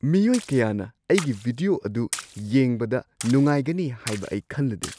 ꯃꯤꯑꯣꯏ ꯀꯌꯥꯅ ꯑꯩꯒꯤ ꯚꯤꯗꯤꯑꯣ ꯑꯗꯨ ꯌꯦꯡꯕꯗ ꯅꯨꯡꯉꯥꯏꯒꯅꯤ ꯍꯥꯏꯕ ꯑꯩ ꯈꯜꯂꯨꯗꯦ!